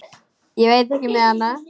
Ég veit ekki með hana.